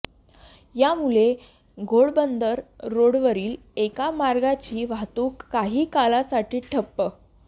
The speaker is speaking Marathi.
यामुळे घोडबंदर रोडवरील एका मार्गाची वाहतूक काही काळासाठी ठप्प